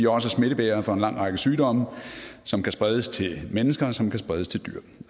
også smittebærere for en lang række sygdomme som kan spredes til mennesker og som kan spredes til dyr